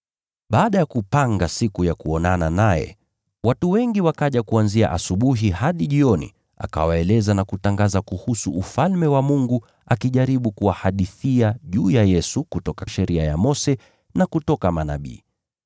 Baada ya kupanga siku ya kuonana naye, watu wengi wakaja kuanzia asubuhi hadi jioni akawaeleza na kutangaza kuhusu Ufalme wa Mungu akijaribu kuwahadithia juu ya Yesu kutoka Sheria ya Mose na kutoka Manabii.